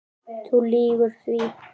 Þú lýgur því